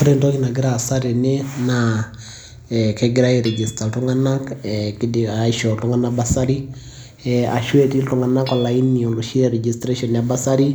Ore entoki nagira aasa tene naa kegirai ai register iltung'anak, aisho iltung'anak bursary ee ashu etii iltung'anak olaini te registration e bursary